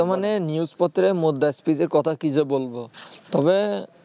তবে বর্তমানে news পত্রের এর মধ্যে কথা কি যে বলব